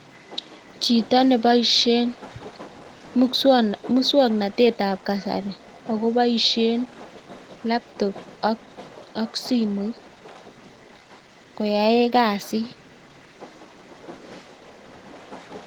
Chito nebaishen muswaknatet Nebo kasari akobaishen labtobbak simoit koyaen kasit